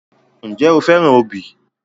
Ǹjẹ́ o fẹ́ràn obì?